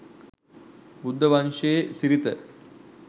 බුද්ධ වංශයේ සිරිත